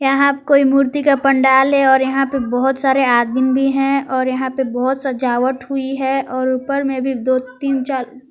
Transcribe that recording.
यहां पे कोई मूर्ति का पंडाल है और यहां पे बहोत सारे आदमीन भी हैं और यहां पे बहोत सजावट हुई है और ऊपर में भी दो तीन चार ता।